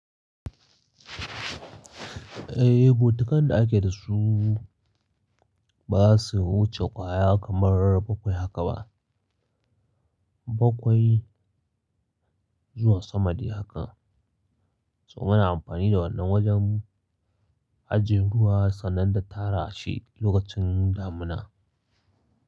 Eh, bokitan da ake da su ba su wuce kwaya kamar bakwai haka ba. Bakwai zuwa sama de haka. So muna amfani da wannan wajen ajiye ruwa sannan da tara shi lokacin damina.